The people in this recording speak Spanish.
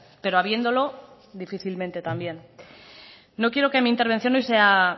pero habiéndolo difícilmente también no quiero que mi intervención hoy sea